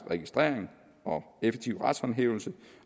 registrering og effektiv retshåndhævelse